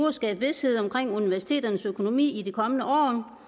at skabe vished omkring universiteternes økonomi i de kommende år